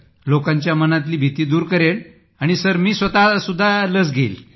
लोकांच्या मनातली भीती दूर करेन सरमी स्वतः ही लस घेईन